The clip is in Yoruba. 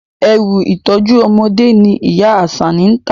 Ẹrù ìtọ́jú ọmọdé ni ìyá Àṣàní ń tà